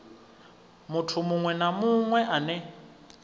muthu muṅwe na muṅwe ane